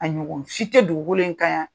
A ɲɔgɔn si tɛ dugu in kan dgukolo kan yan.